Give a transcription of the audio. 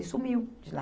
Ele sumiu de lá.